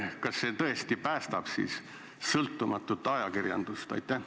Kas see tõesti päästab sõltumatut ajakirjandust?